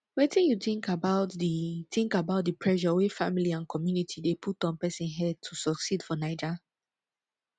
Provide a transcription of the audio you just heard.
wetin you think about di think about di pressure wey family and community dey put on pesin head to succeed for naija